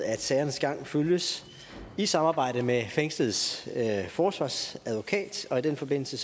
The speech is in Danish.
at sagernes gang følges i samarbejde med fængsledes forsvarsadvokat og i den forbindelse